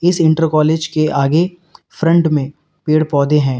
इस inter college के आगे फ्रंट में पेड़ पौधे हैं।